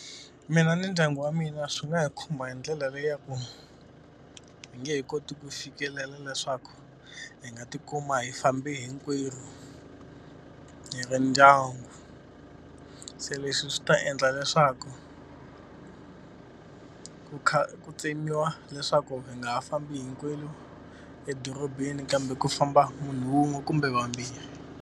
Mina ni ndyangu wa mina swi nga hi khumba hi ndlela leyaku hi nge he koti ku fikelela leswaku hi nga tikuma hi fambe hinkwerhu hi ri ndyangu se leswi swi ta endla leswaku ku kha ku tsemiwa leswaku hi nga ha fambi hinkwenu edorobeni kambe ku famba munhu wun'we kumbe vambirhi.